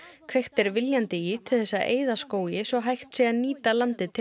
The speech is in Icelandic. kveikt er viljandi í til þess að eyða skógi svo hægt sé að nýta landið til